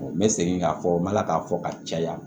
n bɛ segin k'a fɔ n bɛ ala k'a fɔ ka caya